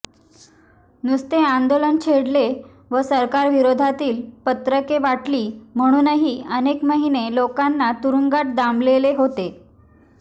नुसते आंदोलन छेडले वा सरकार विरोधातली पत्रके वाटली म्हणूनही अनेक महिने लोकांना तुरुंगात डांबलेले होते